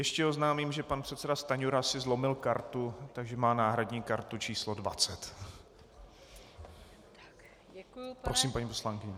Ještě oznámím, že pan předseda Stanjura si zlomil kartu, takže má náhradní kartu číslo 20. Prosím, paní poslankyně.